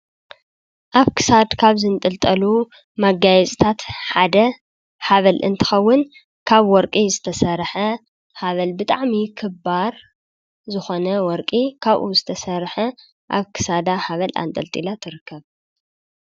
ኣብ ክሳድ ካብ ዝንጥልጠሉ መጋየፅታት ሓድ ሃብል እንትኽዉን ካብ ወርቂ ዝተሰርሐ ሃብል ብጣዕሚ ክባር ዝኾነ ወርቂ ካብኡ ዝተሰርሐ ኣብ ክሳዳ ሃብል ኣንጠልጢላ ትርከብ ።